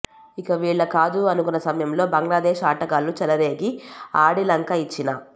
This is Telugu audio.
ఇక వీళ్ల కాదు అనుకున్న సమయంలో బంగ్లాదేశ్ ఆటగాళ్లు చెలరేగి ఆడి లంక ఇచ్చిన